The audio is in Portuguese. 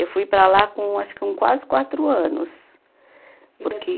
Eu fui para lá com, acho que com quase quatro anos. Porque